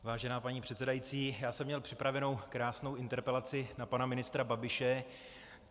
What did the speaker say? Vážená paní předsedající, já jsem měl připravenu krásnou interpelaci na pana ministra Babiše.